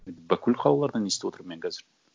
бүкіл қалалардан естіп отырмын мен қазір